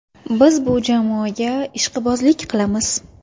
Biz bu jamoaga ishqibozlik qilamiz.